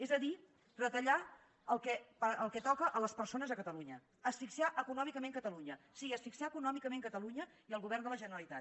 és a dir retallar el que toca les persones a catalunya asfixiar econòmicament catalunya sí asfixiar econòmi cament catalunya i el govern de la generalitat